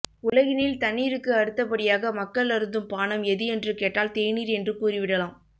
உலகினில் தண்ணீருக்குப் அடுத்தபடியாக மக்கள் அருந்தும் பானம் எது என்று கேட்டால் தேநீர் என்று கூறிவிடலாம்